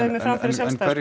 mig fram fyrir